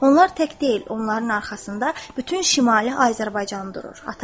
Onlar tək deyil, onların arxasında bütün Şimali Azərbaycan durur.